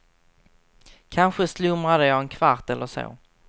Kanske slumrade jag en kvart eller så.